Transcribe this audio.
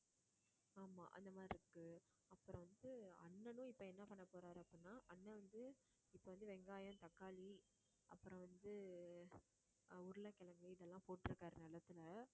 ஆமா அந்த மாதிரி இருக்கு அப்புறம் வந்து அண்ணனும் இப்ப என்ன பண்ண போறாரு அப்படின்னா அண்ணன் வந்து இப்ப வந்து வெங்காயம், தக்காளி அப்புறம் வந்து அஹ் உருளைக்கிழங்கு இதெல்லாம் போட்டிருக்காரு நெலத்துல